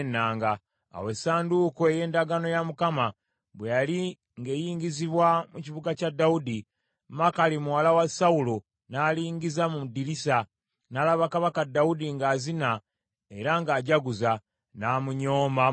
Awo essanduuko ey’endagaano ya Mukama bwe yali ng’eyingizibwa mu kibuga kya Dawudi, Makali muwala wa Sawulo n’alingiza mu ddirisa, n’alaba Kabaka Dawudi ng’azina era ng’ajjaguza, n’amunyooma mu mutima gwe.